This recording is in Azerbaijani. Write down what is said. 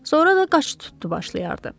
Sonra da qaça-tutdu başlayardı.